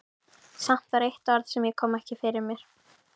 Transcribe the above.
Samt var eitt orð sem ég kom ekki fyrir mig.